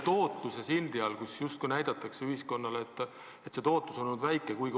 Tootlusest rääkides justkui näidatakse ühiskonnale, et tootlus on olnud väike.